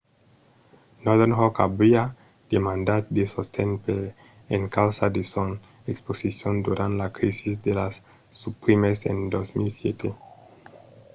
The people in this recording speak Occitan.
northern rock aviá demandat de sosten per encausa de son exposicion durant la crisi de las subprimes en 2007